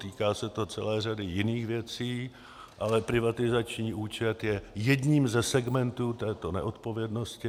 Týká se to celé řady jiných věcí, ale privatizační účet je jedním ze segmentů této neodpovědnosti.